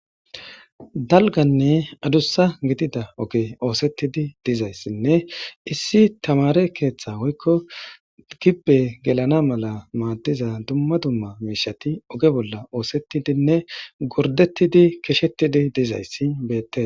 Dalganne adussa gidida oge oosettidi dizayssinne issi tamare keeththa hoykko gibbe gelana mala maaddiza dumma dumma miishati oge bolla oosettidinne gordettidi kishettidi dizayssi beette.